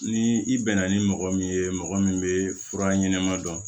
Ni i bɛnna ni mɔgɔ min ye mɔgɔ min bɛ fura ɲɛnɛma dɔn